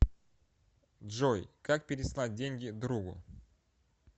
джой как переслать деньги другу